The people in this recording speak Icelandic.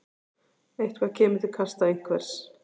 Eitthvað kemur til kasta einhvers